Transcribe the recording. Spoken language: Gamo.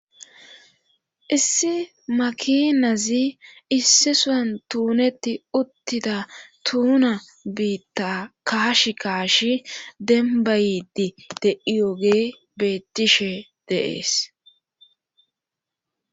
Issi makinazi issi sowun tuuneti uttida tuuna biitta kaash kaashi dembaydi de7iyoge beettishe de'ees.